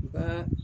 U ka